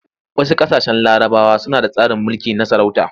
Wasu ƙasashen larabawa suna da tsarin mulki na sarauta.